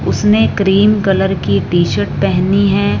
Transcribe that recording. उसने cream colour की T shirt पहनी है।